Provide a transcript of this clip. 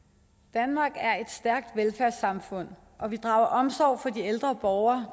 danmark er et stærkt velfærdssamfund og vi drager omsorg for de ældre borgere